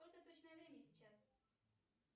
сколько точное время сейчас